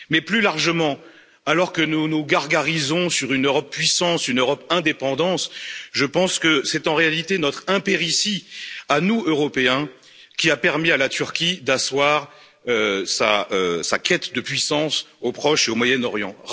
Plus largement, alors que nous nous gargarisons sur une Europe puissance, une Europe indépendance, je pense que c'est en réalité notre impéritie à nous, Européens, qui a permis à la Turquie d'asseoir sa quête de puissance au Proche et au Moyen Orient.